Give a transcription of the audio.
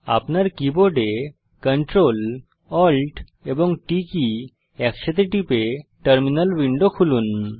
আপনার কীবোর্ডে Ctrl Alt এবং T কী একসাথে টিপে টার্মিনাল উইন্ডো খুলুন